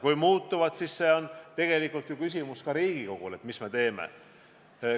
Kui muutub, siis on ju tegelikult küsimus ka Riigikogule, et mis me edasi teeme.